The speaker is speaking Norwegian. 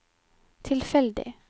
tilfeldig